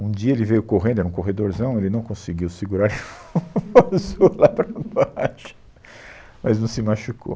Um dia ele veio correndo, era um corredorzão, ele não conseguiu segurar, ele passou lá para baixo, mas não se machucou.